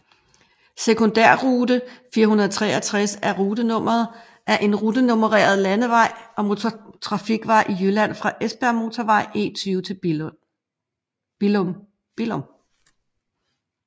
Sekundærrute 463 er en rutenummereret landevej og motortrafikvej i Jylland fra Esbjergmotorvejen E20 til Billum